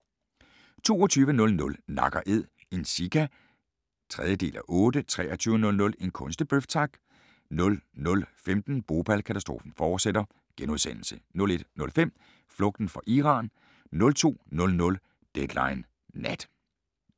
22:00: Nak & Æd – en sika (3:8) 23:00: En kunstig bøf, tak! 00:15: Bhopal – katastrofen fortsætter * 01:05: Flugten fra Iran 02:00: Deadline Nat